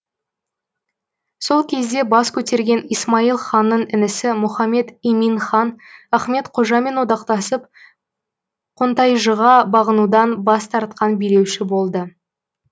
сол кезде бас көтерген исмаил ханның інісі мұхаммед имин хан ахмет қожамен одақтасып қонтайжыға бағынудан бас тартқан билеуші болды